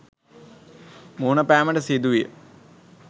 මුහුණ පෑමට සිදුවිය